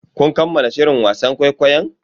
Kun kammala shirin wasan kwaikwayon?